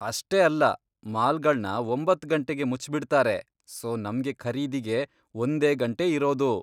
ಅಷ್ಟೇ ಅಲ್ಲ, ಮಾಲ್ಗಳ್ನ ಒಂಬತ್ತ್ ಗಂಟೆಗೆ ಮುಚ್ಬಿಡ್ತಾರೆ, ಸೋ ನಮ್ಗೆ ಖರೀದಿಗೆ ಒಂದೇ ಗಂಟೆ ಇರೋದು.